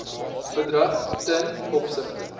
bedrag ten opsigte